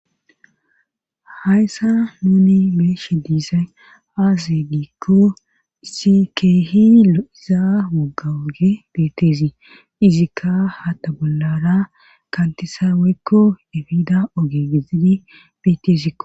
Hayssa nuuni meeshe diizaay aaze diikko si kehi izaa woggawoge beteesi izikka ha ta bollara kantisaaweekko efiida ogegizidi betezikko